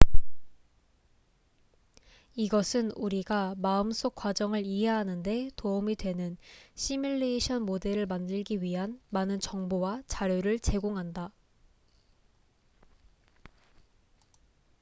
이것은 우리가 마음속 과정을 이해하는 데 도움이 되는 시뮬레이션 모델을 만들기 위한 많은 정보와 자료를 제공한다